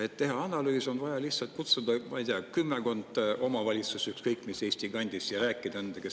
Et teha analüüs, on vaja lihtsalt kutsuda, ma ei tea, kümmekond omavalitsust ükskõik mis Eesti kandist ja rääkida nendega.